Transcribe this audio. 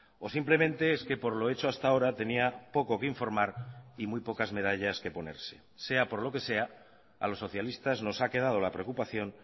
o simplemente es que por lo hecho hasta ahora tenía poco que informar y muy pocas medallas que ponerse sea por lo que sea a los socialistas nos ha quedado la preocupación